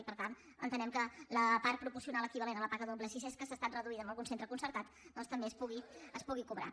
i per tant entenem que la part proporcional equivalent a la paga doble si és que ha estat reduïda en algun centre concertat doncs que també es pugui cobrar